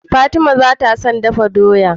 Fatima bata son dafa doya